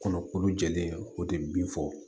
Kɔnɔkulu jɛlen o de bin fɔ